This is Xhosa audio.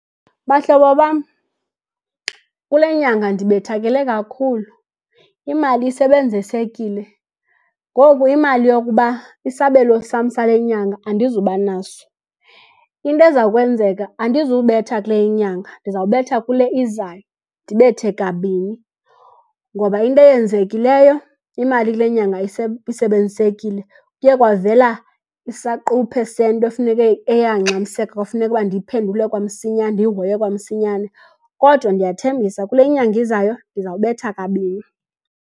Bahlobo bam, kule nyanga ndibethakele kakhulu, imali isebenzisekile. Ngoku imali yokuba isabelo sam sale nyanga andizuba naso. Into eza kwenzeka andizubetha kule inyanga ndizawubetha kule izayo ndibethe kabini ngoba into eyenzekileyo imali kule nyanga isebenzisekile. Kuye kwavela isaquphe sento efuneke eye yangxamiseka kwafuneka ukuba ndiyiphendule kwamsinyane ndiyihoye kwamsinyane, kodwa ndiyathembisa kule nyanga izayo ndiza kubetha kabini.